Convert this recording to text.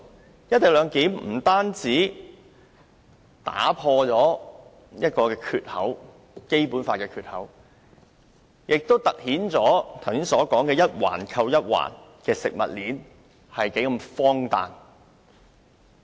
實施"一地兩檢"不單將《基本法》打破一個缺口，亦凸顯剛才所說的一環扣一環的食物鏈，是多麼荒誕。